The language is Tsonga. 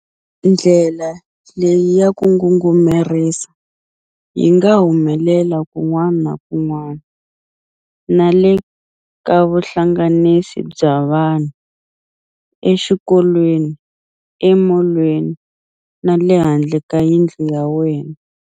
Ndlela leyi ya ku ngungumerisa yi nga humelela kun'wana na kun'wana na le ka vuhlanganisi bya vanhu, exikolweni, emolweni na le handle ka yindlu ya wena.